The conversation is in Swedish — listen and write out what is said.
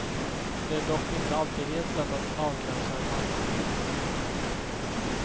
Det är dock inte alltid helt lätt att avgränsa en marknad.